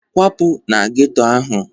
Kwapụ na geto ahụ!